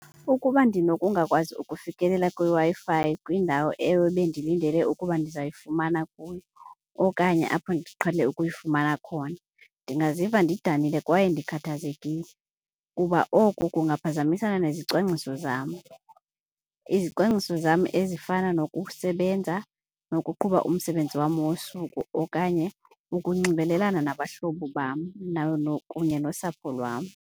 Ukuba ndinokungakwazi ukufikelela kwiWi-Fi kwiindawo ebendiyilindele ukuba ndizayifumana kuyo okanye apho ndiqhelile ukuyifumana khona, ndingaziva ndidanile kwaye ndikhathazekile kuba oku kungaphazamisana nezezicwangciso zam. Izicwangciso zam ezifana nokusebenza nokuqhuba umsebenzi wam wosuku okanye ukunxibelelana nabahlobo bam kunye nosapho lwam.